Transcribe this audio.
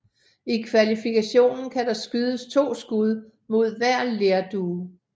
I kvalifikationen kan der skydes to skud mod hver lerdue